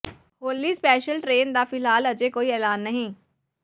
ਹੋਲੀ special train ਦਾ ਫਿਲਹਾਲ ਅਜੇ ਕੋਈ ਐਲਾਨ ਨਹੀਂ